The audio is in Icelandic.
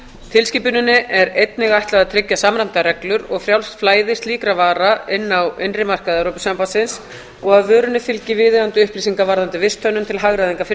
tilskipuninni er einnig ætlað að tryggja samræmdar reglur og frjálst flæði slíkra vara inn á innri markaði evrópusambandsins og að vörunni fylgi viðeigandi upplýsingar varðandi visthönnun til hagræðingar fyrir